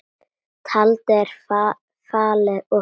Tjaldið er fallið og frá.